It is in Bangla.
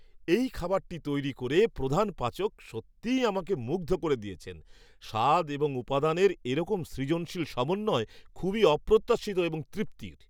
এই খাবারটি তৈরি করে প্রধান পাচক সত্যিই আমাকে মুগ্ধ করে দিয়েছেন; স্বাদ এবং উপাদানের এরকম সৃজনশীল সমন্বয় খুবই অপ্রত্যাশিত এবং তৃপ্তির।